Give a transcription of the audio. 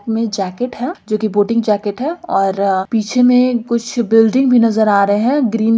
में जैकेट है जो कि बोटिंग जैकेट है और पीछे में कुछ बिल्डिंग भी नजर आ रहे है ग्रीन --